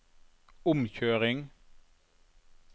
omkjøring